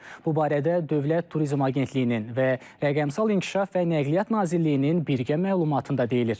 Bu barədə Dövlət Turizm Agentliyinin və Rəqəmsal İnkişaf və Nəqliyyat Nazirliyinin birgə məlumatında deyilir.